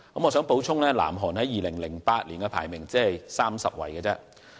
我想補充的是，南韓在2008年的排名只是第三十。